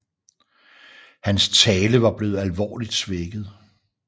Hans tale var blevet alvorligt svækket